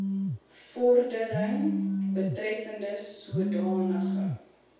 vordering betreffende sodanige